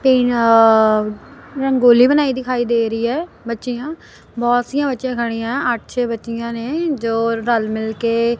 ਤੇ ਅਅ ਰੰਗੋਲੀ ਬਣਾਈ ਦਿਖਾਈ ਦੇ ਰਹੀ ਐ ਬੱਚੀਆ ਬਹੁਤ ਸੀ ਬੱਚੀਆਂ ਖੜੀਆਂ ਅਠ ਛੇ ਬੱਚੀਆਂ ਨੇ ਜੋ ਰਲ ਮਿਲ ਕੇ--